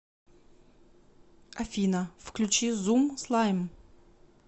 афина включи зум слайм